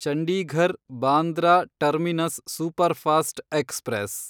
Chandigarh Bandra terminus superfast express